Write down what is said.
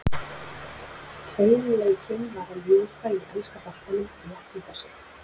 Tveim leikjum var að ljúka í enska boltanum rétt í þessu.